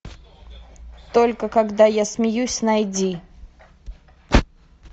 только когда я смеюсь найди